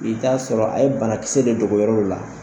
I t'a sɔrɔ a ye banakisɛ de dogo yɔrɔw la